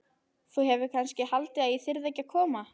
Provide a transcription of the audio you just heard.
Þú hefur kannski haldið að ég þyrði ekki að koma?